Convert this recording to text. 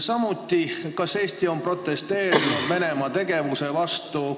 Samuti küsin, kas Eesti on protesteerinud Venemaa tegevuse vastu.